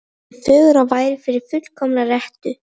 Stundin er fögur og væri fullkomin fyrir rettu.